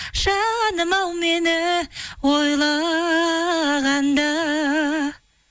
жаным ау мені ойлағанда